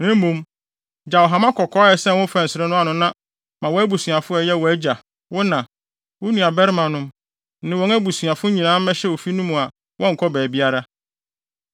na mmom, gyaw hama kɔkɔɔ a ɛsɛn wo mfɛnsere ano no na ma wʼabusuafo a ɛyɛ wʼagya, wo na, wo nuabarimanom ne wɔn abusuafo nyinaa mmɛhyɛ ofi no mu a wɔnnkɔ baabiara.